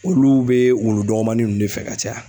Olu bɛ wulu dɔgɔmanin ninnu de fɛ ka caya.